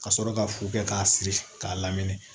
Ka sɔrɔ ka fu kɛ k'a siri k'a lamini